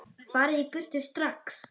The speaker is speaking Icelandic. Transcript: FARIÐ Í BURTU STRAX!